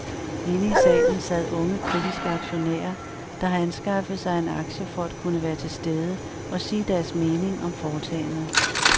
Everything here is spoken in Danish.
Inde i salen sad unge kritiske aktionærer, der har anskaffet sig en aktie for at kunne være til stede og sige deres mening om foretagendet.